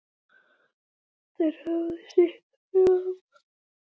Þeir höfðu sitt fram.